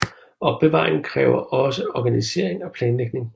Opbevaring kræver også organisering og planlægning